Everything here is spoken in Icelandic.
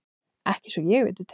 Ekki svo ég viti til.